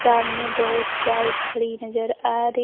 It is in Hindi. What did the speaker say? सामने बहुत बाइक खड़ी नजर आ री--